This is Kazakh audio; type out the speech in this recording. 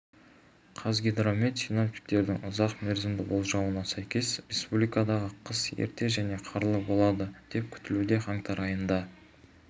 қазгидромет синоптиктерінің ұзақ мерзімді болжауына сәйкес республикадағы қыс ерте және қарлы болады деп күтілуде қаңтар айында